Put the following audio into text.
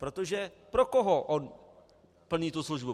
Protože pro koho on plní tu službu?